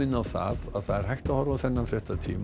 á að það er hægt að horfa á þennan fréttatíma